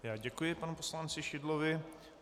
Já děkuji panu poslanci Šidlovi.